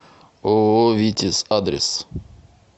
ооо витязь адрес